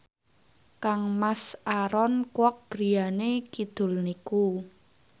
kangmas Aaron Kwok griyane kidul niku